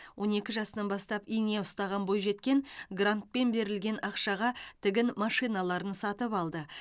он екі жасынан бастап ине ұстаған бойжеткен грантпен берілген ақшаға тігін машиналарын сатып алды